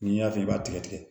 N'i y'a fɛ i b'a tigɛ tigɛ